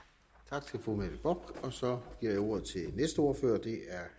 tak til fru mette bock så giver jeg ordet til næste ordfører og det